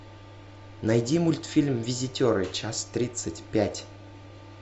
найди мультфильм визитеры часть тридцать пять